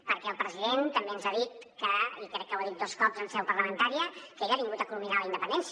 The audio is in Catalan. perquè el president també ens ha dit i crec que ho ha dit dos cops en seu parlamentària que ell ha vingut a culminar la independència